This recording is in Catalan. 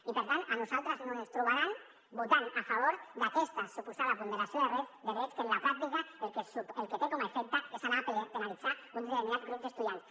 i per tant a nosaltres no ens trobaran votant a favor d’aquesta suposada ponderació de drets que en la pràctica el que té com a efecte és anar a penalitzar un determinat grup d’estudiants